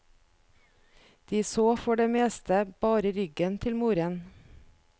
De så for det meste bare ryggen til moren.